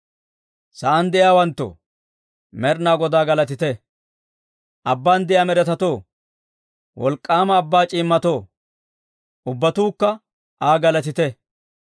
Sa'aan de'iyaawanttoo, Med'inaa Godaa galatite! Abban de'iyaa med'etatoo, wolk'k'aama abbaa c'iimmatoo, ubbatuukka Aa galatite.